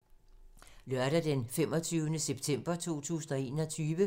Lørdag d. 25. september 2021